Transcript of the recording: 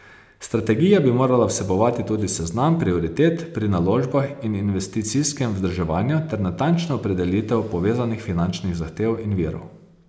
Strategija bi morala vsebovati tudi seznam prioritet pri naložbah in investicijskem vzdrževanju ter natančno opredelitev povezanih finančnih zahtev in virov.